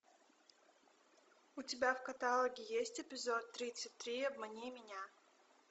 у тебя в каталоге есть эпизод тридцать три обмани меня